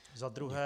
Za druhé -